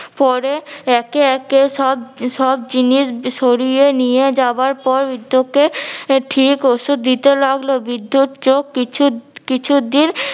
পরে একে একে সব সব জিনিস সরিয়ে নিয়ে যাবার পর বৃদ্ধকে ঠিক ওষুধ দিতে লাগলো। বৃদ্ধর চোখ কিছু কিছুদিন